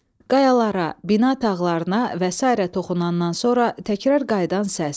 Qayalara, bina tağlarına və sairə toxunandan sonra təkrar qayıdan səs.